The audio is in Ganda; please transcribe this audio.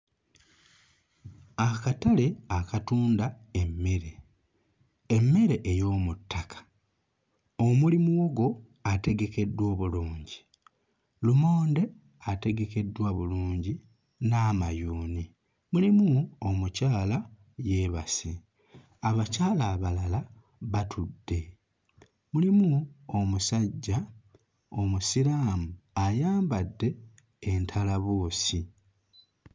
Akatale akatunda emmere, emmere ey'omu ttaka omuli muwogo ategekeddwa obulungi, lumonde ategekeddwa bulungi n'amayuni. Mulimu omukyala yeebase, abakyala abalala batudde, mulimu omusajja Omusiraamu ayambadde entalabuusi.